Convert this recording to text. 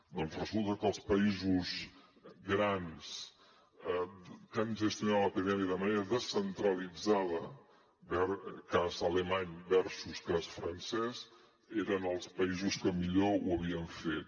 doncs resulta que els països grans que han gestionat l’epidèmia de manera descentralitzada cas alemany versus cas francès eren els països que millor ho havien fet